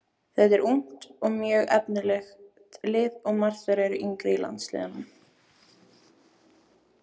Þetta er ungt og mjög efnilegt lið og margar þeirra eru í yngri landsliðunum.